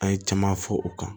An ye caman fɔ o kan